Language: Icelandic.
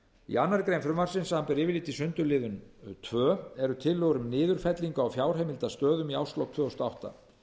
í annarri grein frumvarpsins samanber yfirlit í sundurliðun tveir eru tillögur um niðurfellingar á fjárheimildastöðum í árslok tvö þúsund og átta